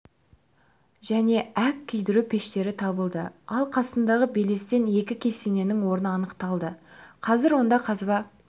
және әк күйдіру пештері табылды ал қасындағы белестен екі кесененің орны анықталды қазір онда қазба